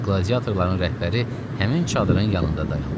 Qladiatorların rəhbəri həmin çadırın yanında dayandı.